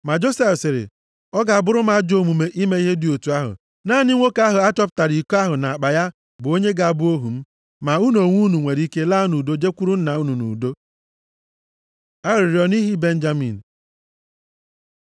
Ma Josef sịrị, “Ọ ga-abụrụ m ajọ omume ime ihe dị otu ahụ. Naanị nwoke ahụ a chọpụtara iko ahụ nʼakpa ya bụ onye ga-abụ ohu m. Ma unu onwe unu nwere ike laa nʼudo jekwuru nna unu nʼudo.” Arịrịọ nʼihi Benjamin